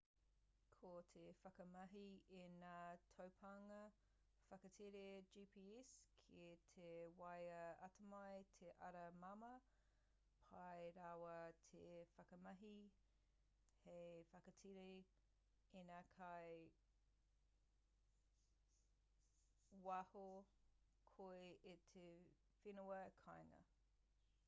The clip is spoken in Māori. ko te whakamahi i ngā taupānga whakatere gps ki tō waea atamai te ara māmā pai rawa te whakamahi hei whakatere ina kei waho koe i tō whenua kāinga